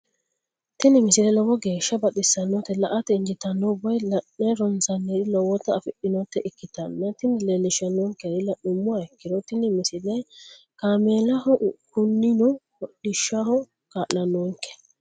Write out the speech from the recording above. tini misile lowo geeshsha baxissannote la"ate injiitanno woy la'ne ronsannire lowote afidhinota ikkitanna tini leellishshannonkeri la'nummoha ikkiro tini misilekaameelaho kunino hodhishshaho kaa'lannonke.